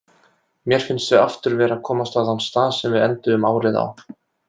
Mér finnst við aftur vera að komast á þann stað sem við enduðum árið á.